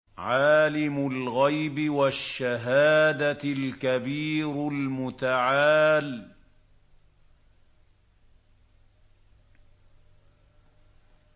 عَالِمُ الْغَيْبِ وَالشَّهَادَةِ الْكَبِيرُ الْمُتَعَالِ